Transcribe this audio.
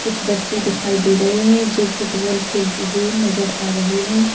कुछ बच्चे दिखाई दे रहे है जो फुटबॉल खेलते हुए नजर आ रहे है।